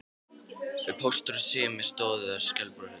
Póstur og Sími stóðu þar skælbrosandi.